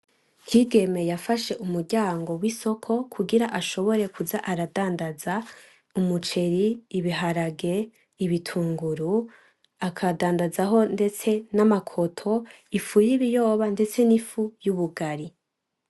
Kigeme yafashe umuryango w'isoko kugira ashobore kuza aradandaza umuceri; ibiharage; ibitunguru akadandazaho ndetse n'amakoto ,ifu y'ibiyoba ndetse n'ifu y’ubugari.